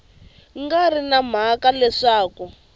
nga ri na mhaka leswaku